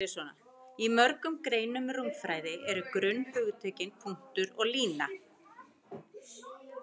Í mörgum greinum rúmfræði eru grunnhugtökin punktur og lína.